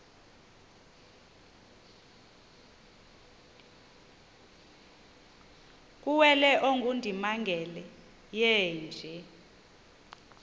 kuwele ongundimangele yeenje